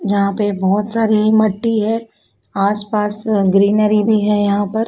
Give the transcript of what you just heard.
यहां पे बहुत सारी मट्टी है आसपास ग्रीनरी भी है यहां पर।